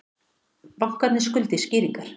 Bankarnir skuldi skýringar